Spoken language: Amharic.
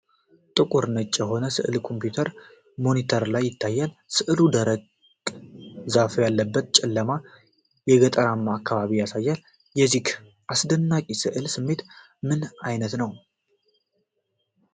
ጥቁርና ነጭ የሆነ ሥዕል የኮምፒውተር ሞኒተር ላይ ይታያል። ሥዕሉ ደረቅ ዛፍ ያለበትን ጨለማ፣ የገጠራማ አካባቢ ያሳያል። የዚህ አስደናቂ ሥዕል ስሜት ምን ዓይነት ነው?